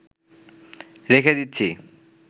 রেখে দিচ্ছি